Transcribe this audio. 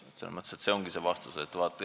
See ongi vastus.